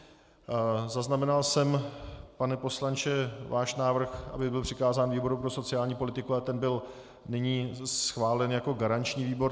Zaznamenal jsem, pane poslanče, váš návrh, aby byl přikázán výboru pro sociální politiku, ale ten byl nyní schválen jako garanční výbor.